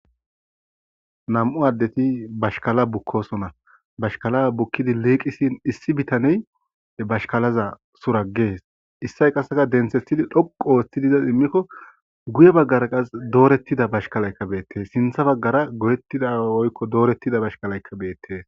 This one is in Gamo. Nam'u adeti bashkala bukosona bashkala bukidi liqisin issi addey suragees issi addey qase dhoqu oothidi denthi izas imiko guye bagara dooretida bashkalayka betees sintha bagara dooretida bashkalayka betees.